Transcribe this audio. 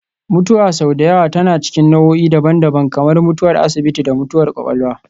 Mutuwa sau da yawa tana cikin nau'o'i daban-daban, kamar mutuwar asibiti da mutuwar kwakwalwa